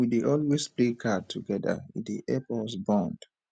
we dey always play card togeda e dey help us bond